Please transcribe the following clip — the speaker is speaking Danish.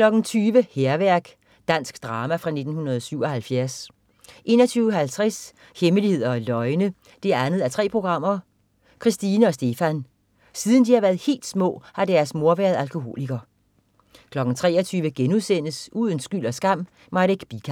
20.00 Hærværk. Dansk drama fra 1977 21.50 Hemmeligheder og løgne 2:3. Christine og Stephan. Siden de har været helt små har deres mor været alkoholiker 23.00 Uden skyld og skam: Marek Bican*